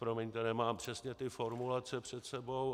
Promiňte, nemám přesně ty formulace před sebou.